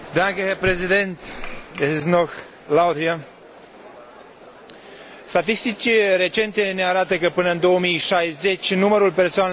Statistici recente ne arată că, până în 2060, numărul persoanelor în vârstă va înregistra o creștere foarte mare, respectiv până la